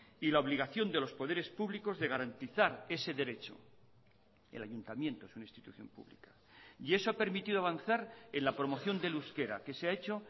y la obligación de los poderes públicos de garantizar ese derecho el ayuntamiento es una institución pública y eso ha permitido avanzar en la promoción del euskera que se ha hecho